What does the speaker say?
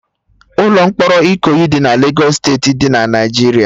Ụlọ mkpọrọ Ikoyi dị na Legos steeti dị na Naijiria